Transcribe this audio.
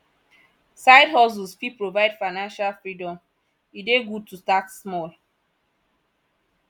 sidehustles fit provide financial freedom e dey good to start small